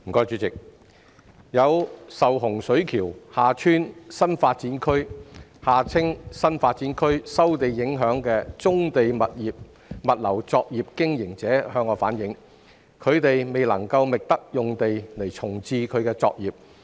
主席，有受洪水橋/厦村新發展區收地影響的棕地物流作業經營者反映，他們未能覓得用地重置作業。